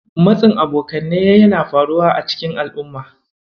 Matsin Abokanai yana faruwa a cikin al'umma.